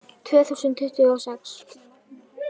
Tvö þúsund tuttugu og sex